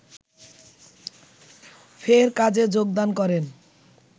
ফের কাজে যোগদান করেন